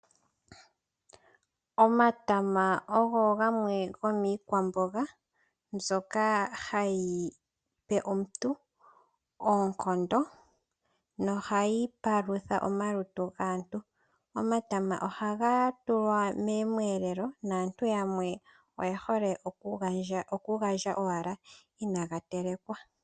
Omatama ogo gamwe go miikwaamboga mbyoka hayi pe omuntu oonkondo nohayi palutha omalutu gaantu . Omatama ohaga tulwa moomweelelo naantu yamwe oyehole okugalya owala inaga telekwa.